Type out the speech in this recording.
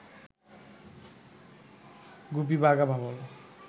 গুপি আর বাঘা ভাবল